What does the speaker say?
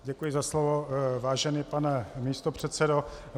Děkuji za slovo, vážený pane místopředsedo.